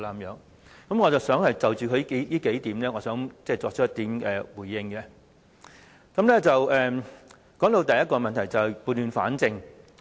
因此，我想就他的發言內容作出回應，當中談到的第一個問題，就是要撥亂反正。